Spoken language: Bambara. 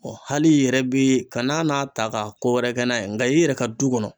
hali i yɛrɛ bi kan'a n'a ta ka ko wɛrɛ kɛ n'a ye nka i yɛrɛ ka du kɔnɔ